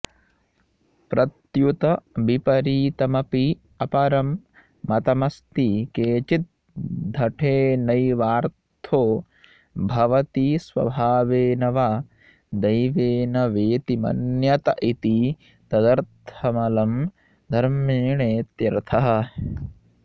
प्रत्युत विपरीतमपि अपरं मतमस्ति केचिद्धठेनैवार्थो भवति स्वभावेन वा दैवेन वेति मन्यत इति तदर्थमलं धर्मेणेत्यर्थः